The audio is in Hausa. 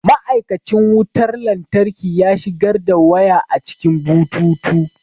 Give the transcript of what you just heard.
Ma'aikacin wutar lantarki ya shigar da waya a cikin bututu.